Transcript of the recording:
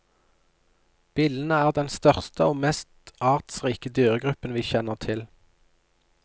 Billene er den største og mest artsrike dyregruppen vi kjenner til.